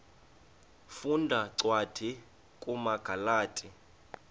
funda cwadi kumagalati